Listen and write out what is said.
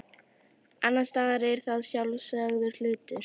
annars staðar er það sjálfsagður hlutur